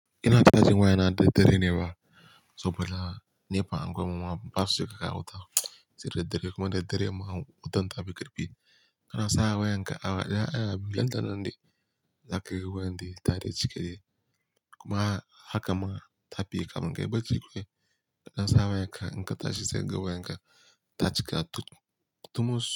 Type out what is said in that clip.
Ina cajin waya na da dare ne ba saboda nefa anguwanmu ma basu cika ka wuta sai daidare kuma daidare ma wutan ta fi kirfi. Kana sa wayan ka awa daya awa biyu, nan danan ne za ka rike wayan da tare cike ne kuma haka ma ta fi kamun kai baci kan. Dan sa wayan ka in ka tashi sai ka ga wayan ka ta cika tumus.